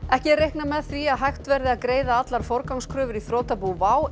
ekki er reiknað með því að hægt verði að greiða allar forgangskröfur í þrotabú WOW